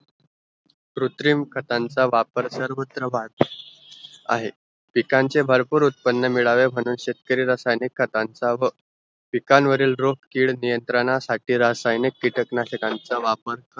कृत्रिम खतांचा वापर सर्वत्र वाढ आहे पिकांचे भरपूर उत्पन्न मिळावे म्हणून शेतकरी रासायनिक खतांचा व पिकांवरील रोग किड नियंत्रणासाठी रासायनिक किटकनाशकांचा वापर